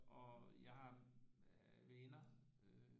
Og jeg har venner